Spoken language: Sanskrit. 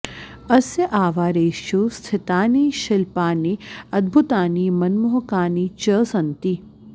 अस्य आवारेषु स्थितानि शिल्पानि अद्भुतानि मनमोहकानि च सन्ति